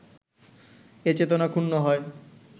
এ চেতনা ক্ষুণ্ণ হয়